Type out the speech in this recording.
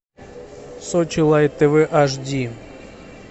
сочи лайт тв ашди